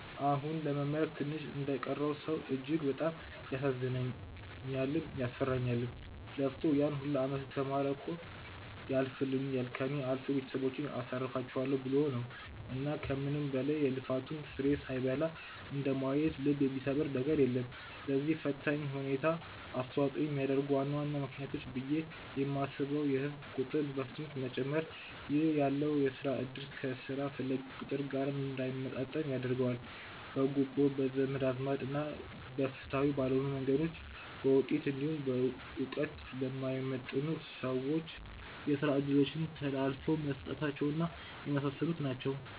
አሁን ለመመረቅ ትንሽ እንደቀረው ሰው እጅግ በጣም ያሳዝነኛልም፤ ያስፈራኛልም። ለፍቶ ያን ሁላ አመት የተማረው እኮ ያልፍልኛል፣ ከእኔ አልፎ ቤተሰቦቼን አሳርፋቸዋለው ብሎ ነው። እና ከምንም በላይ የልፋቱን ፍሬ ሳይበላ እንደማየት ልብ የሚሰብር ነገር የለም። ለዚህ ፈታኝ ሁኔታ አስተዋጽኦ የሚያደርጉ ዋና ዋና ምክንያቶች ብዬ የማስበው የህዝብ ቁጥር በፍጥነት መጨመር ( ይህ ያለውን የስራ እድል ከስራ ፈላጊው ቁጥር ጋር እንዳይመጣጠን ያደርገዋል።) ፣ በጉቦ፣ በዘመድ አዝማድ እና ፍትሃዊ ባልሆኑ መንገዶች በውጤት እንዲሁም በእውቀት ለማይመጥኑ ሰዎች የስራ እድሎች ተላልፈው መሰጠታቸው እና የመሳሰሉት ናቸው።